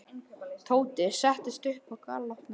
Tóti settist upp og galopnaði augun.